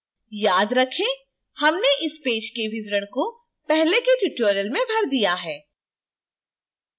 याद रखें हमने इस पेज के विवरण को पहले के tutorial में भर दिया है